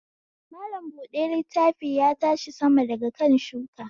Mallam buɗe littafi ya tashi sama daga kan shuka